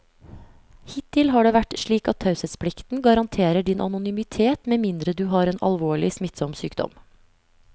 Hittil har det vært slik at taushetsplikten garanterer din anonymitet med mindre du har en alvorlig, smittsom sykdom.